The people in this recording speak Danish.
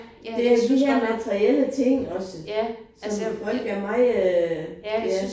Det er de her materielle ting også som folk er meget ja